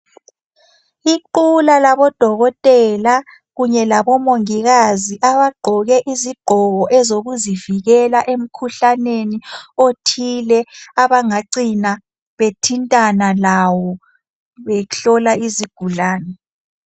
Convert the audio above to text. Iqula labodokotela kanye labomongikazi abagqoke izigqoko ezokuzivikela emkhuhlaneni othile abangacina bethintana lawo behlola izigulane.